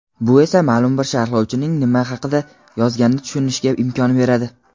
bu esa maʼlum bir sharhlovchining nima haqida yozganini tushunishga imkon beradi.